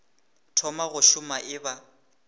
thoma go šoma e ba